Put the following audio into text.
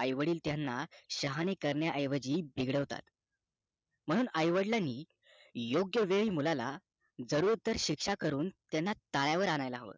आई वडील त्यांना शहाणे करण्या ऐवजी बिघडवतात म्हणून आई वडिलांनी योग्य वेळी मुलाला जरूर शिक्षा करून त्यांना ताळ्यावर आणायला हवं